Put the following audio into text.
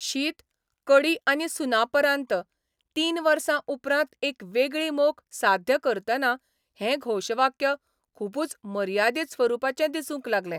शीत, कडी आनी सुनापरान्त तीन वर्सा उपरांत एक वेगळी मोख साध्य करतना हें घोशवाक्य खुबूच मर्यादीत स्वरुपाचें दिसूंक लागलें.